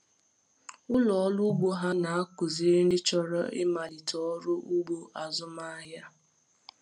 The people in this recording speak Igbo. Ụlọ ọrụ ugbo ha na-akụziri ndị chọrọ ịmalite ọrụ ugbo azụmahịa.